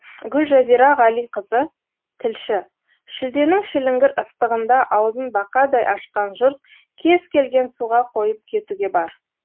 гүлжазира ғалиқызы тілші шілденің шіліңгір ыстығында аузын бақадай ашқан жұрт кез келген суға қойып кетуге бар